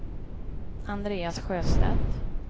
Andreas Sjöstedt